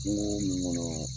Kungo min kɔnɔ